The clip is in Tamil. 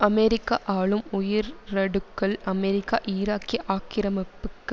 அமெரிக்க ஆளும் உயரடுக்கள் அமெரிக்க ஈராக்கிய ஆக்கிரமிப்புக்கு